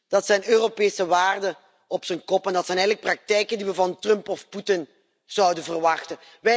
Dat zijn Europese waarden op z'n kop en dat zijn eigenlijk praktijken die we van Trump of Poetin zouden verwachten.